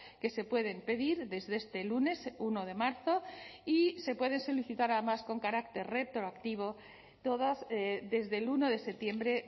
que se pueden pedir desde este lunes uno de marzo y se pueden solicitar además con carácter retroactivo todas desde el uno de septiembre